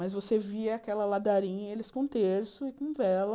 Mas você via aquela ladarinha, eles com terço e com vela,